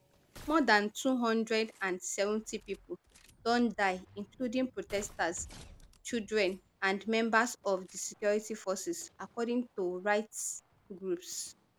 more dan two hundred and seventy pipo don die including protesters children and members of of di security forces according to rights groups